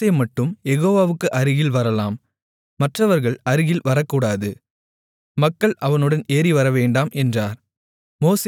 மோசே மட்டும் யெகோவாவுக்கு அருகில் வரலாம் மற்றவர்கள் அருகில் வரக்கூடாது மக்கள் அவனுடன் ஏறிவரவேண்டாம் என்றார்